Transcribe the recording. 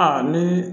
Aa ni